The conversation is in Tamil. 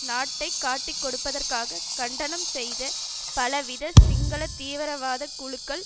நாட்டை காட்டிக்கொடுப்பதாக கண்டனம் செய்த பல வித சிங்கள தீவிரவாத குழுக்கள்